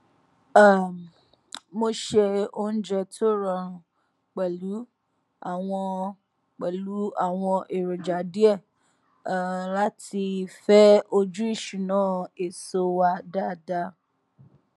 um mo ṣe oúnjẹ tó rọrùn pẹlú àwọn pẹlú àwọn èròjà díẹ um láti fẹ ojú ìṣúná èso wa dáadáa